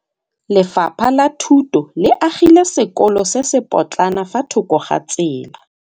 Lefapha la Thuto le agile sekôlô se se pôtlana fa thoko ga tsela.